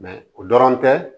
o dɔrɔn tɛ